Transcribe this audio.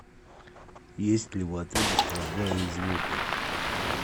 есть ли в отеле стрельба из лука